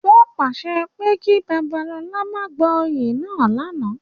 Wọn paṣẹ ki Babalola ma gba oyè náa lánàá!